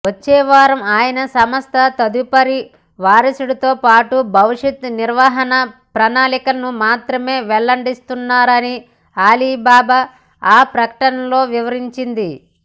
వచ్చేవారం ఆయన సంస్థ తదుపరి వారుసుడితో పాటు భవిష్యత్తు నిర్వహణ ప్రణాళికలను మాత్రమే వెల్లడించనున్నారని అలీబాబా ఆ ప్రకటనలో వివరించింది